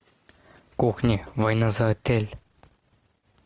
кухня война за отель